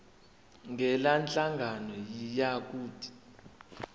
ngalenhlangano yiya kut